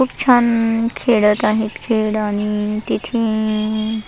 खुप छान खेळत आहे खेळ आणि तिथे--